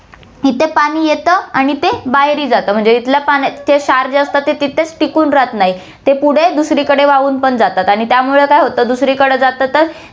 तिथे पाणी येतं आणि ते बाहेरही जातं म्हणजे इथल्या पाण्या~ ते क्षार जे असतात, ते तिथेच टिकून राहत नाही, ते पुढे दुसरीकडे वाहून पण जातात आणि त्यामुळे काय होतं, दुसरीकडे जातं तर